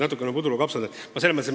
Natukene nagu puder ja kapsad.